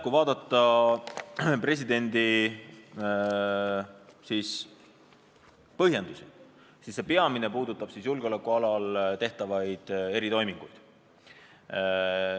Kui vaadata presidendi põhjendusi, siis on näha, et peamine mure puudutab julgeolekualal tehtavaid eritoiminguid.